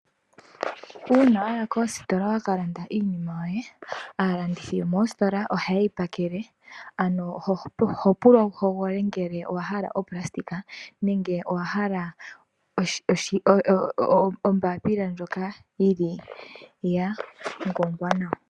Uuna waya koositola waka iinima yoye alanditi yomooositola ohayeyi pakele ano oho pulwa wu hogolole ngele owahala opulasitika nenge owahala ombapila ndyoka yili ya ngongwa nawa.